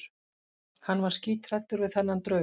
Hann var skíthræddur við þennan draug.